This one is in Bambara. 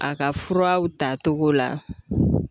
A ka furaw tatogo la